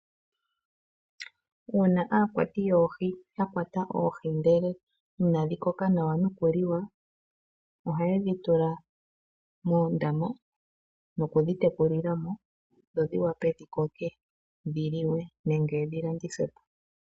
Uuna aakwati yoohi ya kwata oohi ndele inadhi koka nawa nokuliwa ohaye dhitula moondama nokudhitekulila mo dho dhivule dhikoke dhiliwe nenge dhi landithwepo.